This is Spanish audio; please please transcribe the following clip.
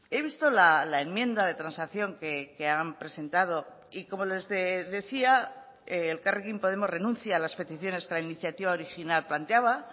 he visto la enmienda de transacción que han presentado y como les decía elkarrekin podemos renuncia a las peticiones que la iniciativa original planteaba